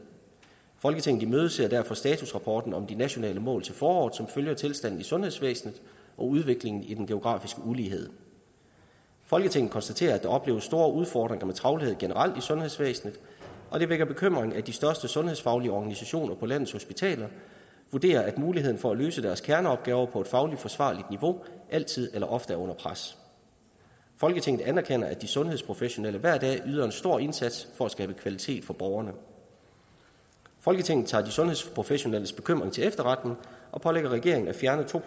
folketinget imødeser derfor statusrapporten om de nationale mål til foråret som følger tilstanden i sundhedsvæsenet og udviklingen i den geografiske ulighed folketinget konstaterer at der opleves store udfordringer med travlhed generelt i sundhedsvæsenet og det vækker bekymring at de største sundhedsfaglige organisationer på landets hospitaler vurderer at muligheden for at løse deres kerneopgaver på et fagligt forsvarligt niveau altid eller ofte er under pres folketinget anerkender at de sundhedsprofessionelle hver dag yder en stor indsats for at skabe kvalitet for borgerne folketinget tager de sundhedsprofessionelles bekymring til efterretning og pålægger regeringen at fjerne to